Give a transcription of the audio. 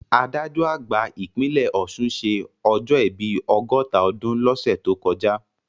Adájọ́ àgbà ìpínlẹ̀ Ọ̀ṣun ṣé ọjọ́ ìbí ọgọ́ta ọdún lọ́sẹ̀ tó kọjá